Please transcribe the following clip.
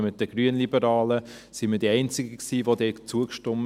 Zusammen mit den Grünliberalen waren wir die einzigen, die dem zustimmten.